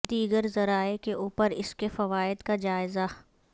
دیگر ذرائع کے اوپر اس کے فوائد کا جائزہ